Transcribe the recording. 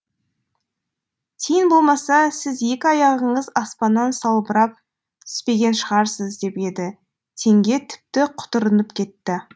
тиын болмаса сіз екі аяғыңыз аспаннан салбырап түспеген шығарсыз деп еді теңге тіпті құтырынып кетті